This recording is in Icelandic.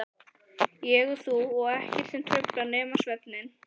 Ég og þú og ekkert sem truflar nema svefninn.